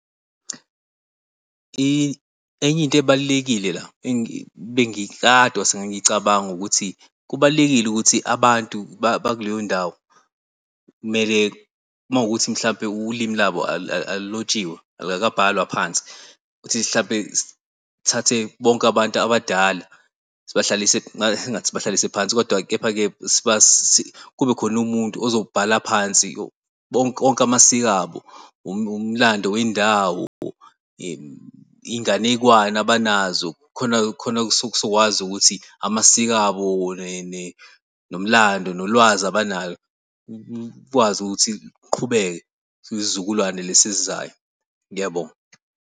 Enye into ebalulekile la bengikade ngicabanga ukuthi kubalulekile ukuthi abantu bakuleyo ndawo kumele mawukuthi mhlawumbe ulimi labo alulotshiwe, alukakabhalwa phansi ukuthi mhlawumbe sithathe bonke abantu abadala ngingathi sibahlalise phansi. Kodwa-ke kube khona umuntu ozoyibhala phansi yonke amasiko abo umlando wendawo, iy'nganekwane abanazo. Khona khona sokwazi ukuthi amasiko abo nomlando nolwazi abanalo kukwazi ukuthi kuqhubeke kuyisizukulwane lesi esizayo. Ngiyabonga.